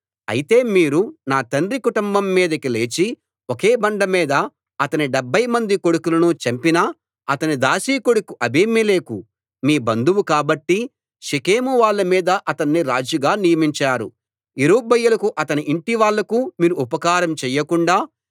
అయితే మీరు నా తండ్రి కుటుంబం మీదికి లేచి ఒకే బండ మీద అతనిడెబ్భై మంది కొడుకులను చంపిన అతని దాసీ కొడుకు అబీమెలెకు మీ బంధువు కాబట్టి షెకెమువాళ్ళ మీద అతన్ని రాజుగా నియమించారు యెరుబ్బయలుకు అతని ఇంటి వాళ్ళకు మీరు ఉపకారం చెయ్యకుండా